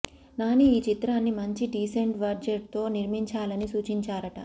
నాని ఈ చిత్రాన్ని మంచి డీసెంట్ బడ్జెట్ తో నిర్మాంచాలని సూచించారట